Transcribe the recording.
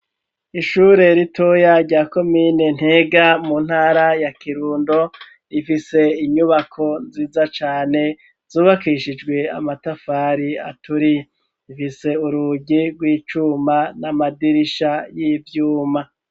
Ishure ritoya rya komine ntega mu ntara ya kirundo rifise inyubako nziza cane zubakishijwe amatafari aturiye rifise urugi rw'icuma n'amadirisha y'ivyuma.